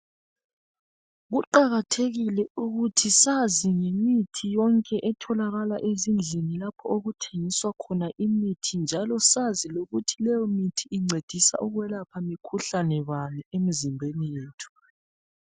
Kuqakathekile ukuthi sazi ngemithi yonke etholakala ezindlini lapho okuthengiswa khona imithi njalo sazi lokuthi leyomithi incedisa ukuyelapha mikhuhlane bani emizimbeni yethu.